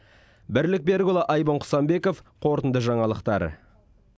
бірлік берікұлы айбын құсанбеков қорытынды жаңалықтар